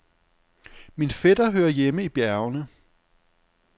Min fætter hører hjemme i bjergene.